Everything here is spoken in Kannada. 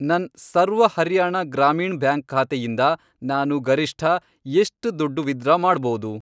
ನನ್ ಸರ್ವ ಹರ್ಯಾಣ ಗ್ರಾಮೀಣ್ ಬ್ಯಾಂಕ್ ಖಾತೆಯಿಂದ ನಾನು ಗರಿಷ್ಠ ಎಷ್ಟ್ ದುಡ್ಡು ವಿತ್ಡ್ರಾ ಮಾಡ್ಬೋದು?